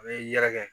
A bɛ yɛrɛkɛ